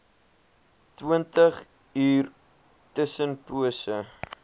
twintig uur tussenpose